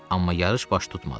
Amma yarış baş tutmadı.